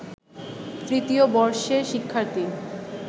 তৃতীয় বর্ষের শিক্ষার্থী